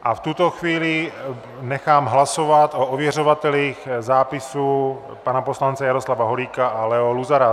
A v tuto chvíli nechám hlasovat o ověřovatelích zápisů - pana poslance Jaroslava Holíka a Leo Luzara.